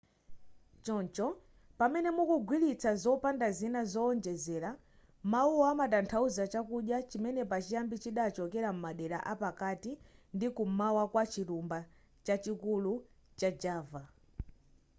choncho pamene mukugwiritsa popanda zina zowonjezera mawuwa amatanthauza chakudya chimene pachiyambi chidachokera m'madera apakati ndi kum'mawa kwa chilumba chachikulu cha java